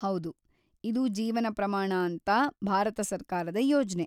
ಹೌದು, ಇದು ಜೀವನ ಪ್ರಮಾಣ ಅಂತ ಭಾರತ ಸರ್ಕಾರದ ಯೋಜ್ನೆ.